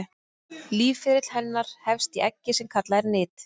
lífsferill hennar hefst í eggi sem kallað er nit